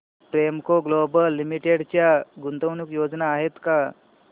Premco global limited च्या गुंतवणूक योजना आहेत का